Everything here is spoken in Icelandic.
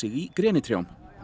í grenitrjám